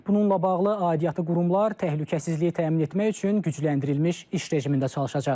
Bununla bağlı aidiyyatı qurumlar təhlükəsizliyi təmin etmək üçün gücləndirilmiş iş rejimində çalışacaq.